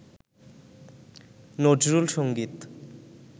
Nazrul Sangeet